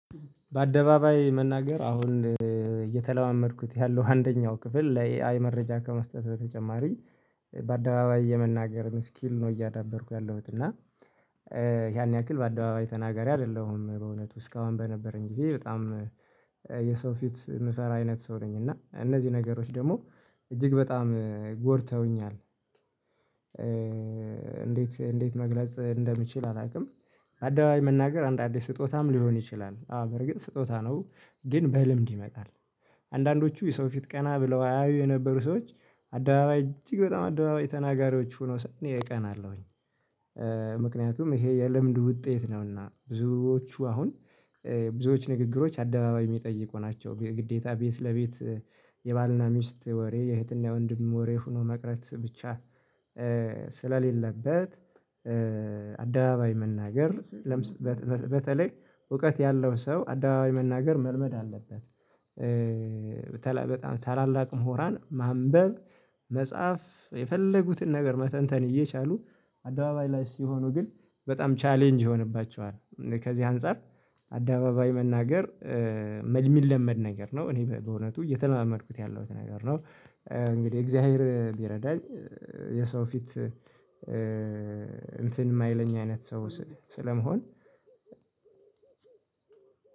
በአደባባይ መናገር አሁን እየተለማመድኩት ያለው አንደኛው ክፍል ላይ አይ መረጃ ከመስጠት በተጨማሪ በአደባባይ የመናገርን ስኪል ነው እያዳበርኩ ያለሁት እና ያን ያክል በአደባባይ ተናጋሪ አይደለሁም በእውነቱ እስካሁን በነበረኝ ጊዜ በጣም የሰው ፊት የምፈራ አይነት ሰው ነኝ እና እነዚህ ነገሮች ደግሞ እጅግ በጣም ጎድተውኛል። እንዴት እንዴት መግለጽ እንደምችል አላውቅም። አደባባይ መናገር አንድ አዲስ ስጦታም ሊሆን ይችላል አዎ በርግጥ ስጦታ ነው። ግን በልምድ ይመጣል አንዳንዶቹ የሰው ፊት ቀና ብለው አያዩ የነበሩ ሰዎች አደባባይ እጅግ በጣም አደባባይ ተናጋሪዎች ሆነው ሳይ እኔ እቀናለሁኝ። ምክንያቱም ይሄ የልምድ ውጤት ነውና። ብዙዎቹ አሁን ብዙዎች ንግግሮች አደባባይ የሚጠይቁ ናቸው ግዴታ ቤት ለቤት የባልና ሚስት ወሬ የእህትና የወንድም ወሬ ሆኖ መቅረት ብቻ ስለሌለበት አደባባይ መናገር። በተለይ እውቀት ያለው ሰው አደባባይ መናገር መልመድ አለበት። በጣም ታላላቅ ምሁራን ማንበብ መጻፍ የፈለጉትን ነገር መተንተን እየቻሉ አደባባይ ላይ ሲሆኑ ግን በጣም ቻሌንጅ ይሆንባቸዋል። ከዚህ አንፃር አደባባይ መናገር የሚለመድ ነገር ነው። እኔ በእውነቱ እየተለማመድኩት ያለሁት ነገር ነው። እንግዲህ እግዚአብሔር ቢረዳኝ የሰው ፊት እንትን የማይለኝ አይነት ሰው ስለመሆን